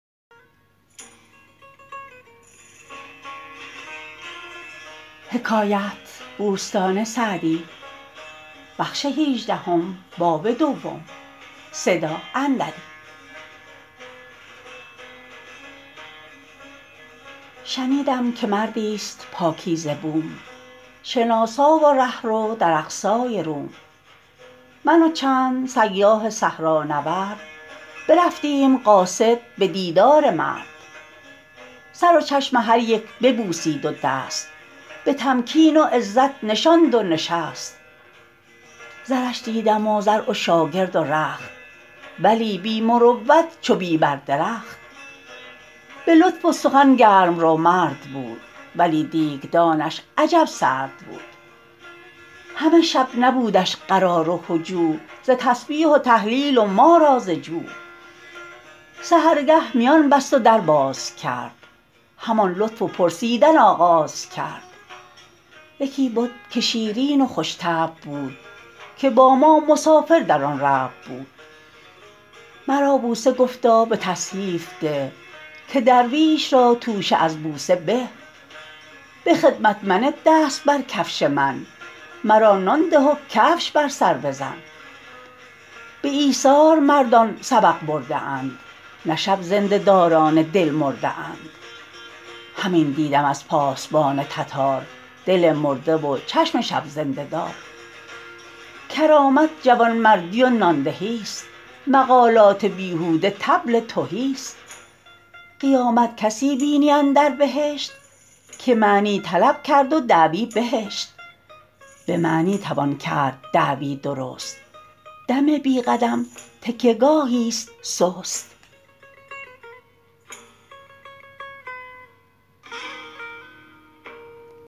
شنیدم که مردی است پاکیزه بوم شناسا و رهرو در اقصای روم من و چند سیاح صحرانورد برفتیم قاصد به دیدار مرد سر و چشم هر یک ببوسید و دست به تمکین و عزت نشاند و نشست زرش دیدم و زرع و شاگرد و رخت ولی بی مروت چو بی بر درخت به لطف و سخن گرم رو مرد بود ولی دیگدانش عجب سرد بود همه شب نبودش قرار و هجوع ز تسبیح و تهلیل و ما را ز جوع سحرگه میان بست و در باز کرد همان لطف و پرسیدن آغاز کرد یکی بد که شیرین و خوش طبع بود که با ما مسافر در آن ربع بود مرا بوسه گفتا به تصحیف ده که درویش را توشه از بوسه به به خدمت منه دست بر کفش من مرا نان ده و کفش بر سر بزن به ایثار مردان سبق برده اند نه شب زنده داران دل مرده اند همین دیدم از پاسبان تتار دل مرده و چشم شب زنده دار کرامت جوانمردی و نان دهی است مقالات بیهوده طبل تهی است قیامت کسی بینی اندر بهشت که معنی طلب کرد و دعوی بهشت به معنی توان کرد دعوی درست دم بی قدم تکیه گاهی است سست